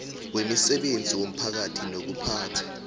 wemisebenzi yomphakathi nokuphatha